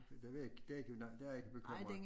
Det ved jeg ikke der du nok der jeg ikke bekymret